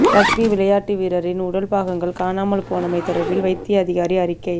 rugby விளையாட்டு வீரரின் உடல் பாகங்கள் காணாமல் போனமை தொடர்பில் வைத்திய அதிகாரி அறிக்கை